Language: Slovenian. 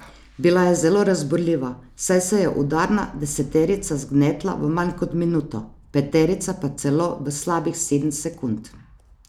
Bila je zelo razburljiva, saj se je udarna deseterica zgnetla v manj kot minuto, peterica pa celo v slabih sedem sekund.